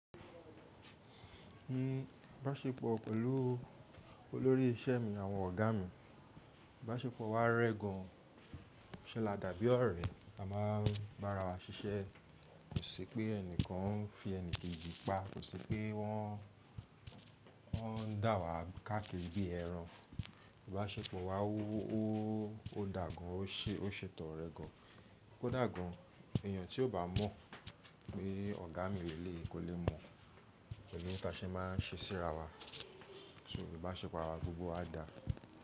Ìbáṣepọ̀ pẹ̀lú olórí iṣẹ́ mi àwọn ọ̀gá mi, ìbáṣepọ̀ wa rẹ́ gan an, ṣe ládàbí ọ̀rẹ́, a máa ń bá ara wa ṣiṣẹ́, kò sí pé ẹni kan ń fi ẹni kejì pa, kò sí pé wọ́n ń dà wá káàkiri bí ẹran. Ìbáṣepọ̀ wa ó dà gan, ó ṣètọrẹ gan, kó dà gan. Ẹ̀yàn tí ó bá mọ̀ pé ọ̀gá mi léleyii, kò lè mọ̀ pelu tase máa ń ṣeṣí ra wa. So ìbáṣepọ̀ arawa gbogbo á dà.